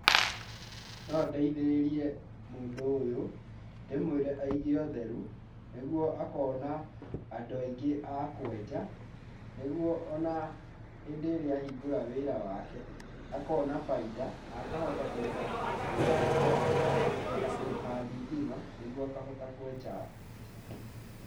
No ndeithĩrĩrie mũndũ ũyũ, ndĩmwĩre aige ũtheru, nĩguo akona andũ aingĩ a kwenja, nĩguo o na hĩndĩ ĩrĩa ahingũra wĩra wake akona bainda, na akahota kũrĩha nyũmba ĩyo na kũhota kũrĩha thitima, nĩguo akahota kwenja andũ.